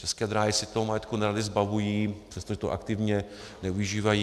České dráhy se toho majetku nerady zbavují, přestože ho aktivně nevyužívají.